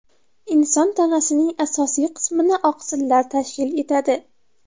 Inson tanasining asosiy qismini oqsillar tashkil etadi.